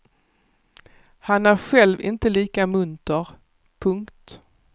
Han är själv inte lika munter. punkt